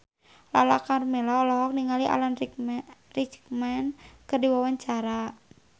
Lala Karmela olohok ningali Alan Rickman keur diwawancara